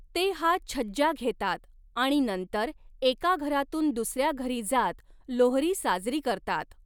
ते हा छज्जा घेतात आणि नंतर एका घरातून दुसऱ्या घरी जात लोहरी साजरी करतात.